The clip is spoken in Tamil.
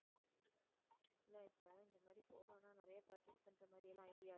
இல்ல இப்போ இந்த மாதிரி போறோம்னா நிறைய purchase பண்ற மாதிரியெல்லாம் idea